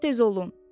Lap tez olun!